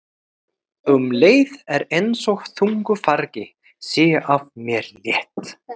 Um leið er einsog þungu fargi sé af mér létt.